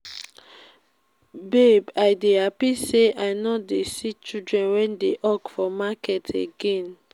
babe i dey happy say i no dey see children wey dey hawk for market again